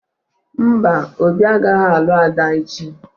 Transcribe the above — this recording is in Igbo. Mba, Obi agaghị alụ Ada echi